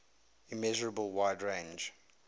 immeasurable wide range